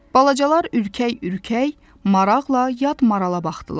Balacalar ürkək-ürkək, maraqla yad marala baxdılar.